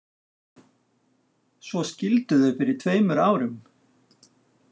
Svo skildu þau fyrir tveimur árum.